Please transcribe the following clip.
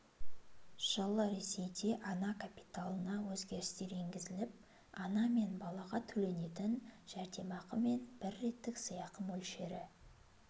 жылы ресейде ана капиталына өзгерістер енгізіліп ана мен балаға төленетін жәрдемақы мен бір реттік сыйақы мөлшері